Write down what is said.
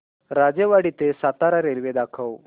राजेवाडी ते सातारा रेल्वे दाखव